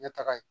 Ɲɛ taga ye